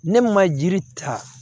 Ne ma jiri ta